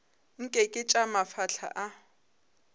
nke ke tša mafahla a